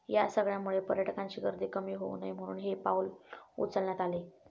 या सगळ्यामुळे पर्यटकांची गर्दी कमी होऊ नये म्हणून हे पाऊल उचलण्यात आले